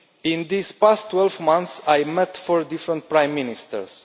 In these past 12 months I have met four different prime ministers.